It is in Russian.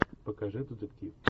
покажи детектив